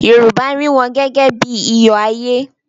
Yorùbá rí wọn gẹ́gẹ́ bí i iyọ̀ ayé.